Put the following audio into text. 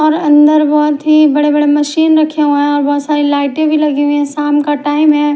और अन्दर बोहोत ही बड़े बड़े मशीन रखे हुए और बोहोत सारी लाइटे भी लगी हुई है शाम का टाइम है।